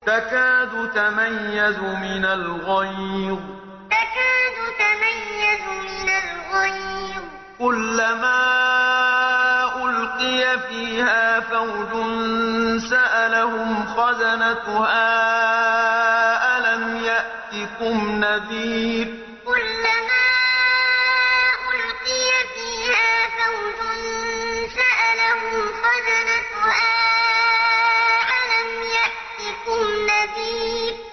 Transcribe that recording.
تَكَادُ تَمَيَّزُ مِنَ الْغَيْظِ ۖ كُلَّمَا أُلْقِيَ فِيهَا فَوْجٌ سَأَلَهُمْ خَزَنَتُهَا أَلَمْ يَأْتِكُمْ نَذِيرٌ تَكَادُ تَمَيَّزُ مِنَ الْغَيْظِ ۖ كُلَّمَا أُلْقِيَ فِيهَا فَوْجٌ سَأَلَهُمْ خَزَنَتُهَا أَلَمْ يَأْتِكُمْ نَذِيرٌ